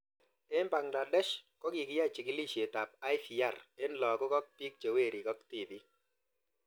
Eng' Bangladesh ko kikiyai chikilishet ab IVR eng' lakok ak pik che werik ak tipik